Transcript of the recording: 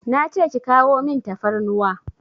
Nace ki kawo min tafarnuwa